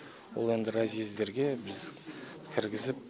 ол енді разъездерге біз кіргізіп